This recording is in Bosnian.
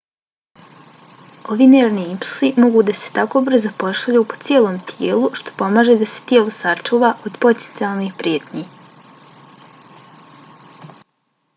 ovi nervni impulsi mogu da se tako brzo pošalju po cijelom tijelu što pomaže da se tijelo sačuva od potencijalnih prijetnji